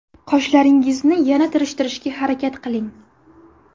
Qoshlaringizni yana tirishtirishga harakat qiling.